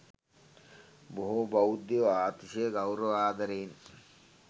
බොහෝ බෞද්ධයෝ අතිශය ගෞරවාදරයෙන්